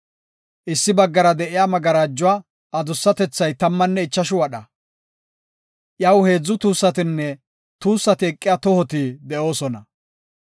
Issi baggara de7iya magarajuwa adussatethay tammanne ichashu wadha. Iyaw heedzu tuussatinne tuussati eqiya tohoti de7oosona.